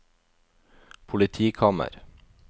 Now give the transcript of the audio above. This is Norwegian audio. politikammer